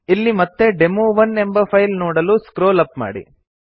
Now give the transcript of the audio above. ಇಲ್ಲಿ ಮತ್ತೆ ಡೆಮೊ1 ಎಂಬ ಫೈಲ್ ನೋಡಲು ಸ್ಕ್ರೋಲ್ ಅಪ್ ಮಾಡಿ